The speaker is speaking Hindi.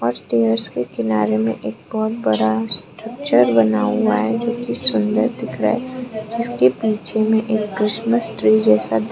स्टेयर्स के किनारे में एक बहोत बड़ा स्ट्रक्चर बना हुआ है जो की सुंदर दिख रहा है जिसके पीछे में एक क्रिसमस ट्री जैसा --